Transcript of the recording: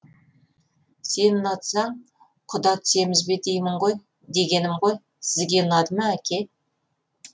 сен ұнатсаң құда түсеміз бе дегенім ғой сізге ұнады ма әке